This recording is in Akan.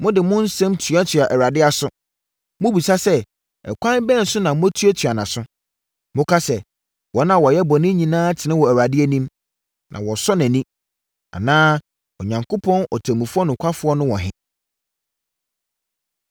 Mode mo nsɛm tuatua Awurade aso. Mobisa sɛ, “Ɛkwan bɛn so na moatuatua nʼaso?” Moka sɛ, “Wɔn a wɔyɛ bɔne nyinaa tene wɔ Awurade anim, na wɔsɔ nʼani,” anaa “Onyankopɔn ɔtemmufoɔ nokwafoɔ no wɔ he?”